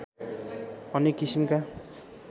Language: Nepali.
अनेक किसिमका